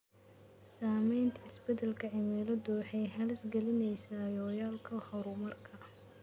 Saamaynta isbeddelka cimiladu waxay halis gelinaysaa yoolalka horumarka.